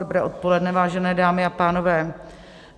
Dobré odpoledne, vážené dámy a pánové.